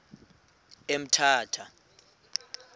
emthatha